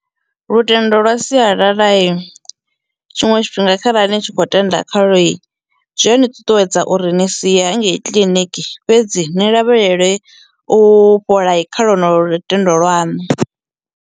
Lutendo lwa sialalai tshiṅwe tshifhinga kharali ni tshi kho tenda khalwoi zwi ani ṱuṱuwedza uri ni sia hangei kiḽiniki fhedzi ni lavhelele u fholai kha lwendo lutendo lwanu.